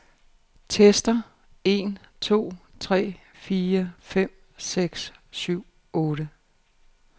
Tester en to tre fire fem seks syv otte.